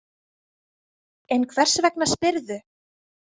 En hvers vegna spyrðu?